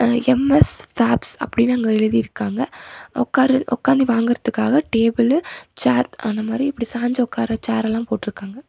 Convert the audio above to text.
அ M S பேப்ஸ் அப்டினு அங்க எழுதிருகாங்க உக்கார உக்காந்து வாங்குறதுக்காக டேபிளு சேர் அந்த மாதிரி இப்படி சாஞ்சு உக்கார சேரல்லா போட்டிருக்காங்க.